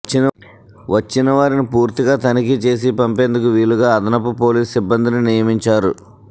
వచ్చిన వారిని పూర్తిగా తనిఖీ చేసి పంపేందుకు వీలుగా అదనపు పోలీస్ సిబ్బందిని నియమించారు